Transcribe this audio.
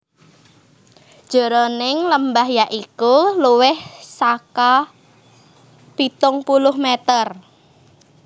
Jeroning lembah ya iku luwih saka pitung puluh meter